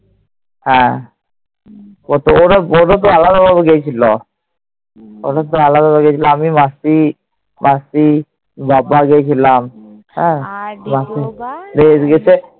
হ্যাঁ। আলাদা আলাদা গেছিল। আলাদা আলাদা গেছিল। আমি, মাসি, মাসি, বাবা গেছিলাম। হ্যাঁ